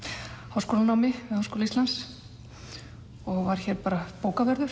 háskólanámi við Háskóla Íslands og var hér bara bókavörður